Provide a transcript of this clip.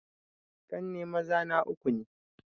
Ƙanne maza na uku ne